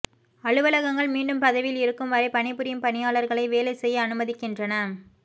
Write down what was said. அலுவலகங்கள் மீண்டும் பதவியில் இருக்கும் வரை பணிபுரியும் பணியாளர்களை வேலை செய்ய அனுமதிக்கின்றன